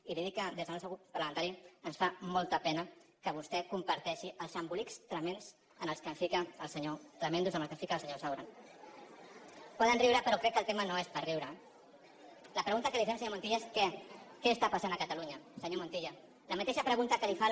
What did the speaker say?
i li dic que des del nostre grup parlamentari ens fa molta pena que vostè comparteixi els embolics tremends en què ens fica el senyor saura no poden riure però crec que el tema no és per riure eh la pregunta que li fem senyor montilla és què està passant a catalunya senyor montilla la mateixa pre·gunta que li fa